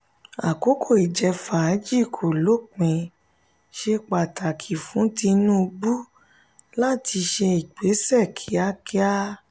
àkókò ìjẹ-fàájì kò lópin; ṣe pàtàkì fún tinubu láti ṣe ìgbésẹ kíákíá.